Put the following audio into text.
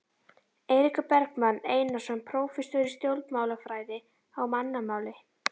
Eiríkur Bergmann Einarsson, prófessor í stjórnmálafræði: Á mannamáli?